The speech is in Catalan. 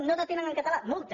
no detenen en català multa